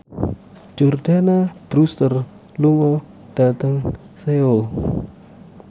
Jordana Brewster lunga dhateng Seoul